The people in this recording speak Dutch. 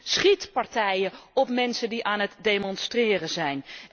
Wij zien schietpartijen op mensen die aan het demonstreren zijn.